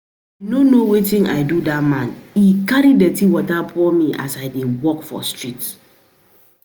I no know wetin I do dat man. He carry dirty water pour me as I dey walk for street